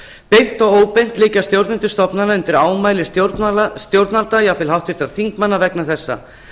beint og óbeint liggja stjórnendur stofnana undir ámæli stjórnvalda jafnvel háttvirtra þingmanna vegna þessa